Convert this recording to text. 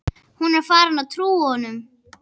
Hún er farin að trúa honum.